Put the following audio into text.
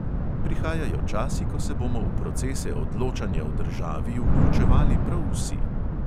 Prihajajo časi, ko se bomo v procese odločanja v državi vključevali prav vsi.